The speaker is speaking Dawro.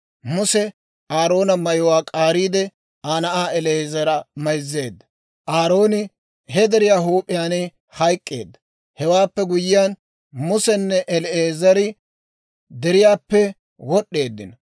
Muse Aaroona mayuwaa k'aariide, Aa na'aa El"aazara mayzzeedda. Aarooni he deriyaa huup'iyaan hayk'k'eedda. Hewaappe guyyiyaan, Musenne El"aazari deriyaappe wod'd'eeddino.